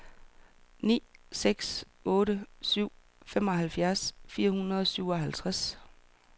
ni seks otte syv femoghalvfjerds fire hundrede og syvoghalvtreds